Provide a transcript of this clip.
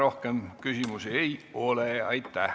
Rohkem küsimusi ei ole.